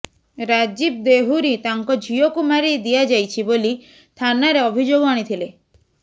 ରାଜୀବ ଦେହୁରୀ ତାଙ୍କ ଝିଅକୁ ମାରି ଦିଆଯାଇଛି ବୋଲି ଥାନାରେ ଅଭିଯୋଗ ଆଣିଥିଲେ